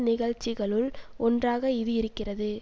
நிகழ்ச்சிகளுள் ஒன்றாக இது இருக்கிறது